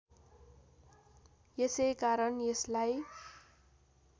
यसैकारण यसलाई